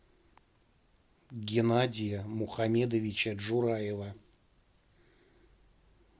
геннадия мухамедовича джураева